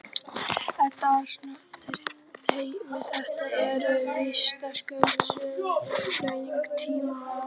Edda Andrésdóttir: Heimir, þetta eru vitaskuld söguleg tímamót?